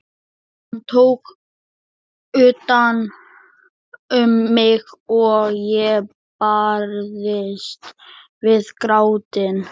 Hann tók utan um mig og ég barðist við grátinn.